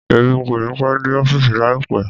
Emi kòní pẹ́ dé ọ́fìsì láípá